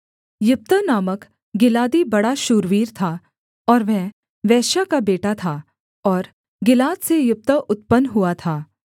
यिप्तह नामक गिलादी बड़ा शूरवीर था और वह वेश्या का बेटा था और गिलाद से यिप्तह उत्पन्न हुआ था